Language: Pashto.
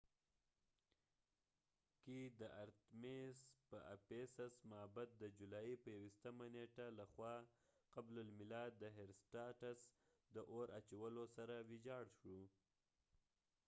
په افیسس ephesusکې د ارتیمیس artemis معبد د جولای په 21 نیټه ،356 قبل المیلاد د هیرسټاټسherostatus له خوا د اور اچولو سره ويجاړ شو